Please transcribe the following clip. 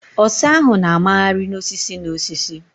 Ọsa ahụ na-a magharị n'osisi n'osisi